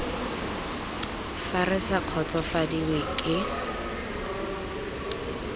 fa re sa kgotsofadiwe ke